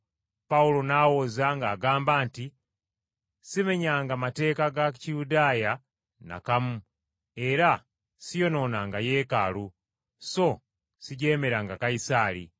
Pawulo n’awoza ng’agamba nti, “Simenyanga mateeka ga Kiyudaaya n’akamu, era siyonoonanga Yeekaalu, so sijeemeranga Kayisaali.”